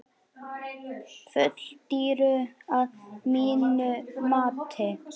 Full dýru að mínu mati.